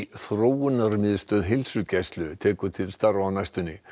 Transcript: Þróunarmiðstöð heilsugæslu tekur til starfa á næstunni